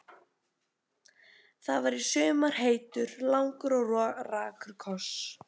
Það var í sumar heitur, langur og rakur koss.